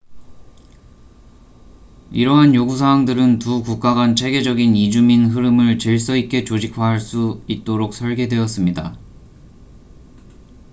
이러한 요구 사항들은 두 국가 간 체계적인 이주민 흐름을 질서 있게 조직화할 수 있도록 설계되었습니다